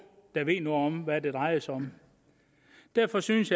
der ved noget om hvad det drejer sig om derfor synes